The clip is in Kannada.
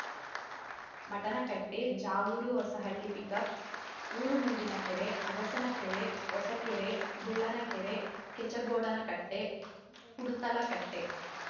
ಮಟನಕಟ್ಟೆ ಜಾವೂರು ಹೊಸಳ್ಳಿ ಪಿಕಪ್‌ ಊರುಮುಂದಿನ ಕೆರೆ ಅಗಸನಕೆರೆ ಹೊಸಕೆರೆ ಬುಳ್ಳನ ಕೆರೆ ಕೆಚಗೋಡನಕಟ್ಟೆ ಕುಡುತಲ ಕಟ್ಟೆ